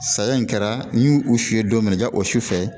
Saya in kɛra n y'u u si ye don min na ja o su sufɛ